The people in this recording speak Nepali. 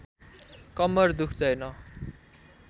कम्मर दुख्दैन